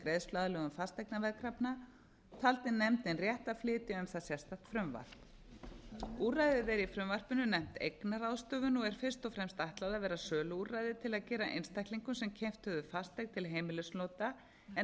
greiðsluaðlögun fasteignaveðkrafna taldi nefndin rétt að flytja um það sérstakt frumvarp úrræðið er i frumvarpinu nefnt eignaráðstöfun og er fyrst og fremst ætlað að vera söluúrræði til að gera einstaklingum sem keypt höfðu fasteign til heimilisnota en